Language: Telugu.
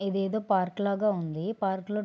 ఇదేదో పార్క్ లాగా ఉంది పార్క్ లో--